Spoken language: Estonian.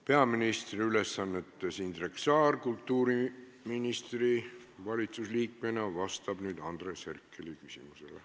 Peaministri ülesannetes Indrek Saar kultuuriministri ja valitsusliikmena vastab nüüd Andres Herkeli küsimusele.